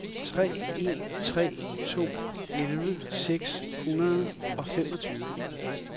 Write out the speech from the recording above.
tre en tre to elleve seks hundrede og femogtyve